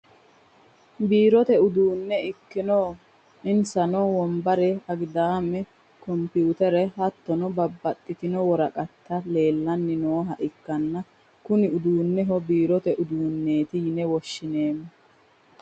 biirote uduunne ikkino insano wombare, agidaame, kompiyuutere, hattono babbaxino woraqati leelanni nooha ikkanna kuni uduunino biirote uduunneeti yine woshshinanniho .